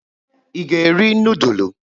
Ị ga-eri nudulu?